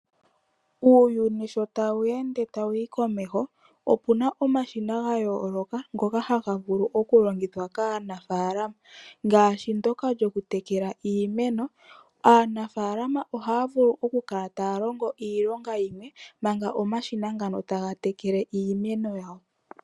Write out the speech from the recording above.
Uuyuni sho tawu ende tawu yi komeho, opuna omashina ga yooloka ngoka haga vulu oku longithwa kaanafaalama ngaashi ndoka lyoku tekela iimeno. Aanafaalama ohaya vulu oku kala taya longo iilonga yimwe manga omashina ngano taga tekele iimeno yawo.